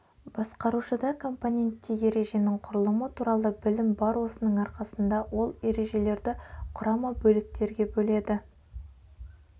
басқарушыда компоненте ереженің құрылымы туралы білім бар осының арқасында ол ережелерді құрама бөліктерге бөледі